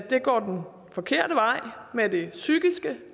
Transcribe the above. det går den forkerte vej med det psykiske